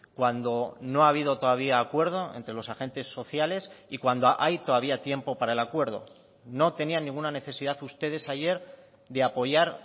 cuando no ha habido todavía acuerdo entre los agentes sociales y cuando hay todavía tiempo para el acuerdo no tenían ninguna necesidad ustedes ayer de apoyar